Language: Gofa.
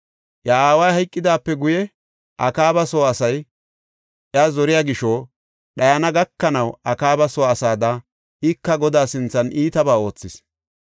Iya aaway hayqidaape guye Akaaba soo asay iya zoriya gisho dhayana gakanaw Akaaba soo asaada ika Godaa sinthan iitabaa oothis.